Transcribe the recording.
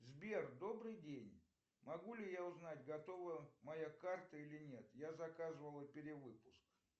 сбер добрый день могу ли я узнать готова моя карта или нет я заказывал перевыпуск